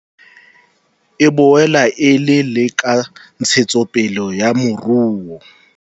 E boela e le le ka ntshetsopele ya moruo.